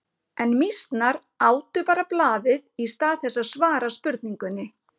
En mýsnar átu bara blaðið í stað þess að svara spurningunni.